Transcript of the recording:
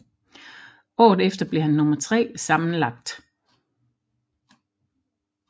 Året efter blev han nummer tre sammenlagt